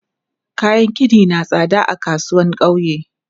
Kayan gini na tsada a kasuwan ƙauye.